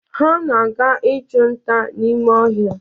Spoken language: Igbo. Ha na-aga ịchụ nta n'ime ọhịa.